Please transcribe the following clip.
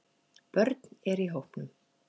Börn er í hópnum